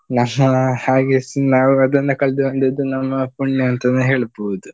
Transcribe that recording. ನಮ್ಮ ಹಾಗೆಸ್ ನಾವೇ ಅದನ್ನ ಕಳ್ದು ಬಂದದ್ದು ನಾವು ನಮ್ಮ ಪುಣ್ಯ ಅಂತನೇ ಹೇಳ್ಬಹುದು.